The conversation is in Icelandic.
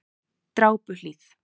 Drápuhlíð